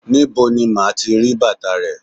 Níbo ni màá ti bàtà rè?